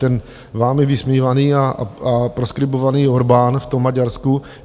Ten vámi vysmívaný a proskribovaný Orbán v tom Maďarsku.